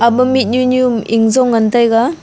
ema mih nu nu eik zong ngan taiga.